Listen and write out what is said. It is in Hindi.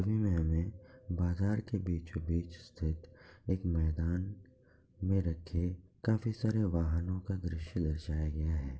बाजार के बीचों-बीच स्थित एक मैदान में रखे काफी सारे वाहनों का दृश्य दर्शाया गया है।